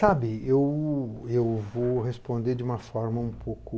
Sabe, eu, eu vou responder de uma forma um pouco...